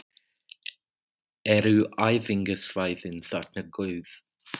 Eru æfingasvæðin þarna góð?